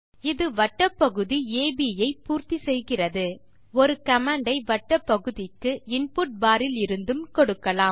இது வட்டப் பகுதி அப் ஐ பூர்த்தி செய்கிறது ஒரு கமாண்ட் ஐ வட்டப் பகுதிக்கு இன்புட் பார் இலிருந்தும் கொடுக்கலாம்